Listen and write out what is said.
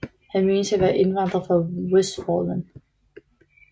Han menes at være indvandret fra Westfalen